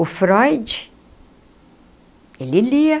O Freud, ele lia.